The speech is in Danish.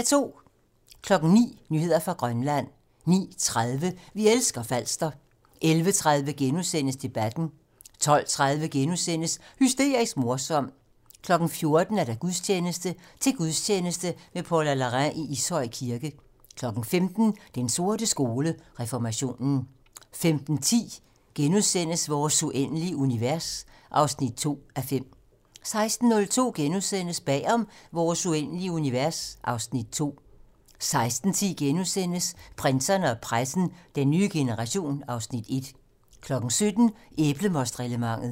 09:00: Nyheder fra Grønland 09:30: Vi elsker Falster 11:30: Debatten * 12:30: Hysterisk morsom * 14:00: Gudstjeneste: Til gudstjeneste med Paula Larrain i Ishøj Kirke 15:00: Den sorte skole: Reformationen 15:10: Vores uendelige univers (2:5)* 16:02: Bag om Vores uendelige univers (Afs. 2)* 16:10: Prinserne og pressen - Den nye generation (Afs. 1)* 17:00: Æblemostreglementet